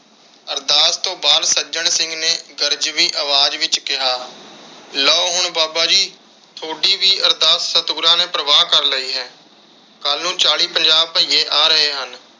ਅਰਦਾਸ ਤੋਂ ਬਾਅਦ ਸੱਜਣ ਸਿੰਘ ਨੇ ਗਰਜਵੀ ਅਵਾਜ ਵਿਚ ਕਿਹਾ ਲੋ ਹੁਣ ਬਾਬਾ ਜੀ ਤੁਹਾਡੀ ਵੀ ਅਰਦਾਸ ਸਤਿਗੁਰਾਂ ਨੇ ਪ੍ਰਵਾਨ ਕਰ ਲਈ ਹੈ। ਕੱਲ ਨੂੰ ਚਾਲੀ ਪੰਜਾਹ ਬੱਇਏ ਆ ਰਹੇ।